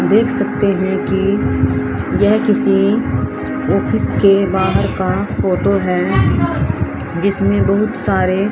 देख सकते हैं कि यह किसी ऑफिस के बाहर का फोटो है जिसमें बहुत सारे--